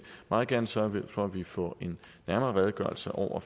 meget gerne sørge for at vi får en nærmere redegørelse over